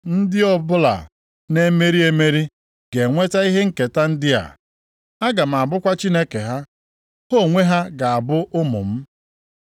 Ndị ọbụla na-emeri emeri ga-enweta ihe nketa ndị a. Aga m abụkwa Chineke ha, ha onwe ha ga-abụ ụmụ m.